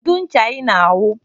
Kedu ncha i na awu?